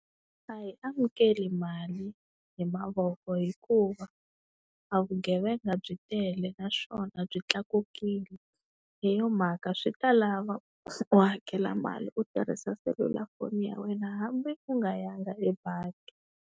A hi amukeli mali hi mavoko hikuva a vugevenga byi tele naswona byi tlakukile. Hi yo mhaka swi ta lava u hakela mali u tirhisa selulafoni ya wena hambi u nga ya nga ebangi.